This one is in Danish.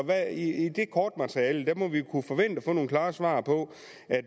i i det kortmateriale må vi kunne forvente at få nogle klare svar på